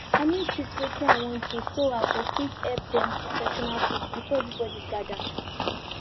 i need shift wetin i wan do so i go fit help them cook traditional food before everybody gather